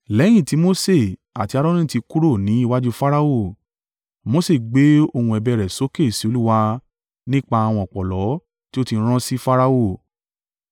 Lẹ́yìn tí Mose àti Aaroni tí kúrò ní iwájú Farao, Mose gbé ohùn ẹ̀bẹ̀ rẹ̀ sókè sí Olúwa nípa àwọn ọ̀pọ̀lọ́ tí ó ti rán sí Farao.